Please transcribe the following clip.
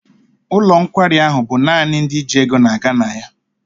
Ụlọ nkwari ahụ bụ naanị ndị ji ego na-aga na ya.